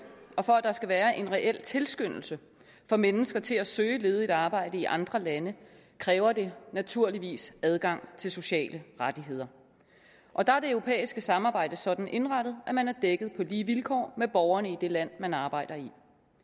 og for at der skal være en reel tilskyndelse for mennesker til at søge ledigt arbejde i andre lande kræver det naturligvis adgang til sociale rettigheder og der er det europæiske samarbejde sådan indrettet at man er dækket på lige vilkår med borgerne i det land man arbejder i det